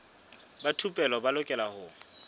ba thupelo ba lokela ho